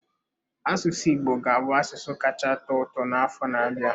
Asụsụ Igbo ga-abụ asụsụ kacha atọ ụtọ n'afọ na-abịa.